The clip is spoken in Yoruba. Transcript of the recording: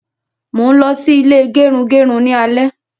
Mo n lọ sí ilé gerugeru ni alẹ́